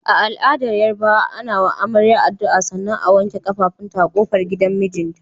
A al'adar Yarabawa, ana wa amarya addu'a sannan a wanke kafafunta a kofar gidan mijinta.